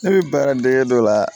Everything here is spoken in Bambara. Ne bɛ baaradege dɔ la